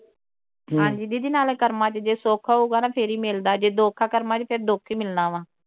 ਹਾਜੀ ਦੀਦੀ ਨਾਲੇ ਕਰਮਾਂ ਵਿਚ ਜੇ ਸੁੱਖ ਹਊਗਾ ਨਾ ਫਿਰ ਹੀ ਮਿਲਦਾ ਜੇ ਦੁੱਖ ਆ ਕਰਮਾਂ ਵਿਚ ਫਿਰ ਦੁੱਖ ਹੀ ਮਿਲਣਾ ਵਾ